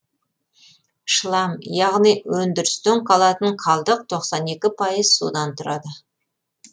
шлам яғни өндірістен қалатын қалдық тоқсан екі пайыз судан тұрады